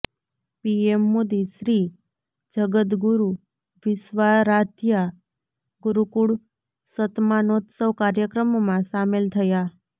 PM Modi શ્રીજગદગુરુ વિશ્વારાધ્યા ગુરુકુળ શતમાનોત્સવ કાર્યક્રમમાં સામેલ થયા